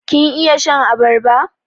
Kin iya shan abarba?